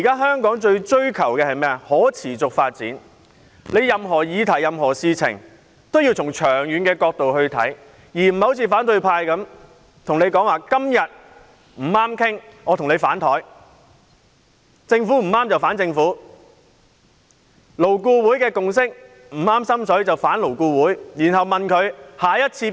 香港現在追求的是可持續發展，任何議題和事情也要從長遠角度考量，而不能像反對派般，每當談不攏便反臉：與政府談不攏，便反政府；勞顧會的共識不合心意，便反勞顧會。